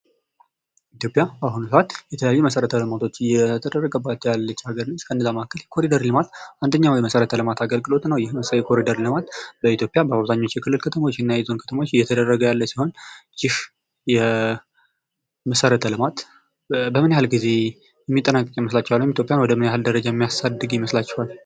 ኢትዮዽያ በአሁኑ ሰዓት የተለያዩ መሠረተ ልማቶች እየተደረገባት የምትገኝ ሀገር ነች ከነዛ መካከል አንዱ የኮሪደር ልማት ነው። የኮሪደር ልማት በአብዛኛው በኢትዮጵያ የፌዴራልና የክልል ከተሞች እየተደረገ የሚገኝ የልማት አገልግሎት ነው ይህ የመሰረተ ልማት በምን ያህል ጊዜ የሚጠናቀቅ ይመስላችኋል? ወይም ኢትዮጵያን ወደ ምን ያህል ደረጃ የሚያሳድግ ይመስላችኋል?